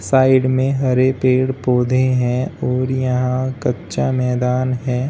Side में हरे पेड़ पौधे हैं और यहां कच्चा मैदान है।